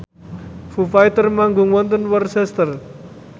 Foo Fighter manggung wonten Worcester